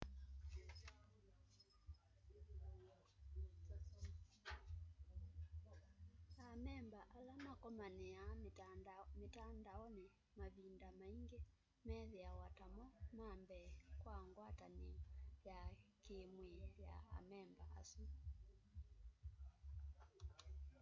amemba ala makomaniaa mitandaoni mavinda maingi methiawa ta mo mambee kwa ngwatanio ya kiimwii ya amemba asu